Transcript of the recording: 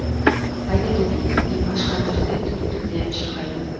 айта кетейік димаш концертте төрт тілде ән шырқайды